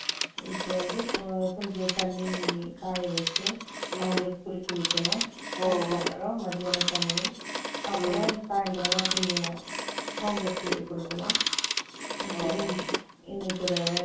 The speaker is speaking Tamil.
இப்போ வந்து, கொஞ்சம் தண்ணி, காய வச்சு, ம்ம். அவங்களுக்கு, குளிக்க வைக்கணும். ஓ, அதுக்கப்புறம், மத்தியான சமையல். அப்புறம், சாயந்திரமா, கொஞ்சம், home work சொல்லி, கொடுக்கணும். இன்னைக்கு